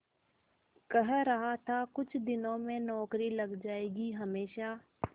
कह रहा था कुछ दिनों में नौकरी लग जाएगी हमेशा